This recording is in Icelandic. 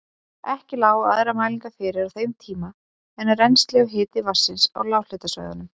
Ekki lágu aðrar mælingar fyrir á þeim tíma en rennsli og hiti vatns á lághitasvæðunum.